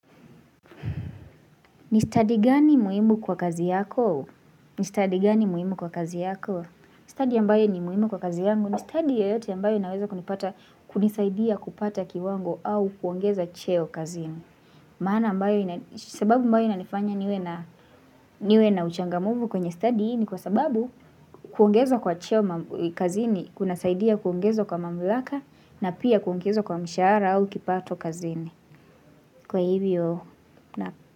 Ni stadi gani muhimu kwa kazi yako? Ni stadi gani muhimu kwa kazi yako? Stadi ambayo ni muhimu kwa kazi yangu ni stadi yoyote ambayo inaweza kunipata kunisaidia kupata kiwango au kuongeza cheo kazini. Maana ambayo sababu ambayo inanifanya niwe na uchangamfu kwenye stadi ni kwa sababu kuongezwa kwa cheo kazini kunasaidia kuongezwa kwa mamlaka na pia kuongezwa kwa mshahara au kipato kazini. Kwa hivyo na.